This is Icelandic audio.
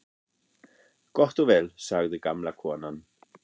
Gott og vel sagði gamla konan.